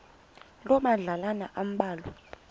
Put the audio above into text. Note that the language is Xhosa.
loo madlalana ambalwa